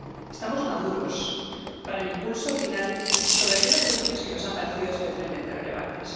Estamos maduros para el impulso final sobre aquellas cuestiones que nos han parecido especialmente relevantes.